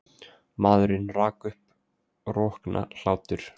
Maðurinn rak upp rokna hlátur.